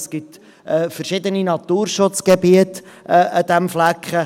Es gibt verschiedene Naturschutzgebiete an diesem Fleck.